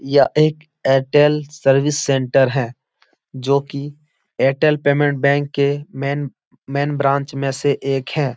यह एक Airtel service centre है जो कि एयरटेल पेमेंट बैंक के मेन मेन ब्रांच में से एक है।